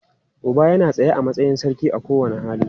Uba yana tsaye a matsayin sarki a kowane iyali.